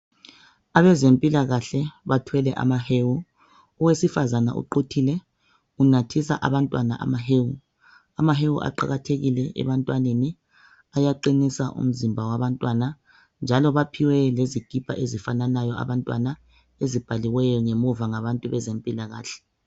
Abezempilakahle bathwele amahewu owesifazane uquthile unathisa abantwana amahewu amahewu aqakathekile ebantwaneni ayaqinisa umzimba wabantwana njalo baphiwe lezikipa ezifanayo abantwana ezibhaliweyo ngemuva ngabantu bezempilakahle